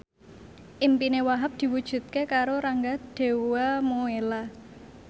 impine Wahhab diwujudke karo Rangga Dewamoela